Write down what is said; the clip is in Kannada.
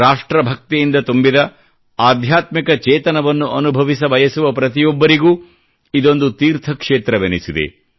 ರಾಷ್ಟ್ರ್ರಭಕ್ತಿಯಿಂದ ತುಂಬಿದ ಆಧ್ಯಾತ್ಮಿಕ ಚೇತನವನ್ನು ಅನುಭವಿಸಬಯಸುವ ಪ್ರತಿಯೊಬ್ಬರಿಗೂ ಇದೊಂದು ತೀರ್ಥ ಕ್ಷೇತ್ರವೆನಿಸಿದೆ